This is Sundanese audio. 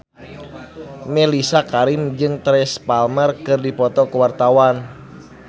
Mellisa Karim jeung Teresa Palmer keur dipoto ku wartawan